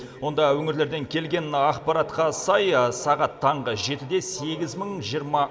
онда өңірлерден келген ақпаратқа сай сағат таңғы жетіде сегіз мың жиырма